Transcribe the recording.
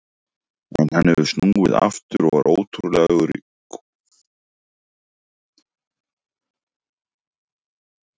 En hann hefur snúið aftur og var ótrúlegur í kvöld.